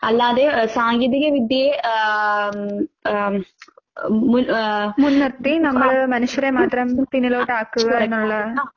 അല്ലാതെ ഏ സാങ്കേതിക വിദ്യയെ ആഹ് ആഹ് അഹ് മുൻ ആഹ് ആഹ് ആഹ്